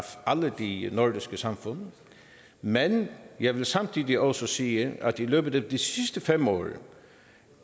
alle de nordiske samfund men jeg vil samtidig også sige at i løbet af de sidste fem år